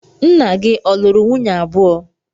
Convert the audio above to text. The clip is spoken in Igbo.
Nna gị ọ̀ luru nwunye abuo.